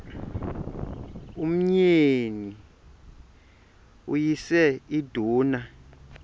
umyeni uyise iduna